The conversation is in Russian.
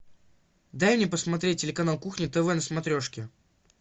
дай мне посмотреть телеканал кухня тв на смотрешке